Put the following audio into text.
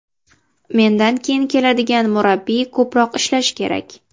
Mendan keyin keladigan murabbiy ko‘proq ishlashi kerak.